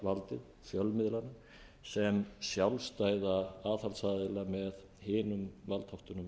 fjórða valdið fjölmiðlana sem sjálfstæða aðhaldsaðila með hinum valdþáttunum